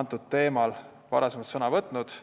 antud teemal varem sõna võtnud.